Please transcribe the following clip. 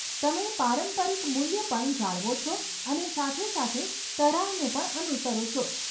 તમે પારંપરિક મૂલ્ય પણ જાળવો છો અને સાથે સાથે તરાહને પણ અનુસરો છો.